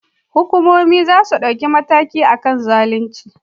Hukumomi zasuyi dauki mataki akan zalunci